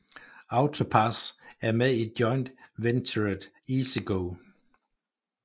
AutoPASS er med i joint venturet EasyGo